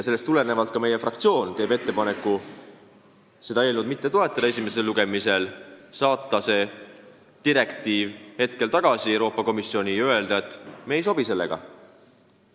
Seega meie fraktsioon teeb ettepaneku eelnõu esimesel lugemisel mitte toetada, saata see direktiiv tagasi Euroopa Komisjoni ja öelda, et meile see ei sobi.